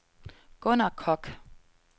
Gunner Koch